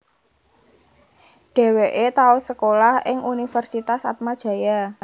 Dheweke tau sekolah ing Universitas Atmajaya